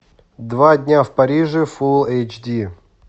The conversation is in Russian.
два дня в париже фул эйч ди